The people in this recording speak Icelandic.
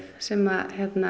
sem